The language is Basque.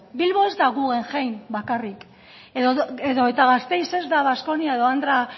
bilbo ez da guggenheim bakarrik edo eta gasteiz ez da baskonia edo andre